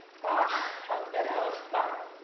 ആഹ് അതൊക്കെ ഒരവസ്ഥ